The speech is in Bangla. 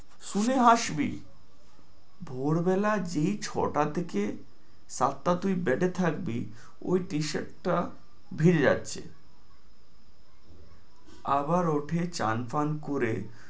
শুনে হাসবি, ভোরবেলার দিক যেই ছয়টা থেকে সাতটায় তুই bed এ থাকবি ওই t-shirt টা ভিজে যাচ্ছে, আবার ওঠে চান পান করে